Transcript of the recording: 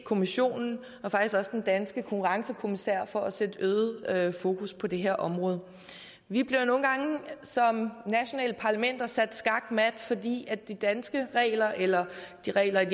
kommissionen og faktisk også den danske konkurrencekommissær for at sætte øget fokus på det her område vi bliver nogle gange som nationale parlamenter sat skakmat fordi de danske regler eller reglerne